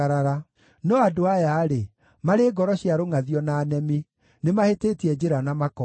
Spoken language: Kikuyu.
No andũ aya-rĩ, marĩ ngoro cia rũngʼathio na nemi; nĩmahĩtĩtie njĩra na makoora.